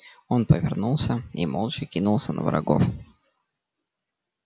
он повернулся и молча кинулся на врагов